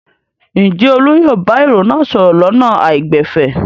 Ǹjẹ́ Olú yóò bá èrò náà sọ̀rọ̀ lọ́nà àìgbẹ̀fẹ̀?